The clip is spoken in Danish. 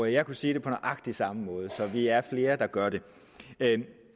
jeg kunne sige det på nøjagtig samme måde så vi er flere der gør det